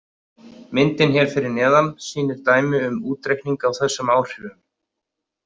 Myndin hér fyrir neðan sýnir dæmi um útreikning á þessum áhrifum.